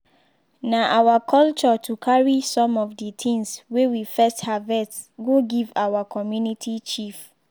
na our culture to carry some of de things wey we first harvest go give our community chief